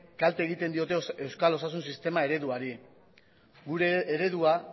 kalte egiten diote euskal osasun sistema ereduari gure eredua